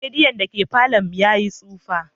Radiyon da ke falon mu ya yi tsoho.